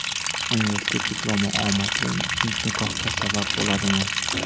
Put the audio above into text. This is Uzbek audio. Universitet diplomi omadli nikohga sabab bo‘ladimi?